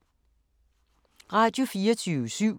Radio24syv